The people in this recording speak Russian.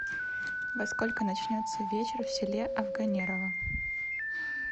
во сколько начнется вечер в селе афганерово